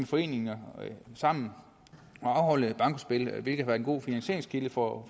foreninger sammen og afholde bankospil hvilket har været en god finansieringskilde for